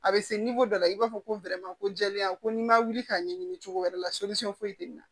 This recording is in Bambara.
A bɛ se dɔ la i b'a fɔ ko ko jɛlenya ko n'i ma wuli ka ɲɛɲini cogo wɛrɛ la foyi tɛ na